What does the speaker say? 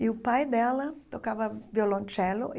E o pai dela tocava violoncelo.